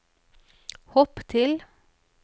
hopp til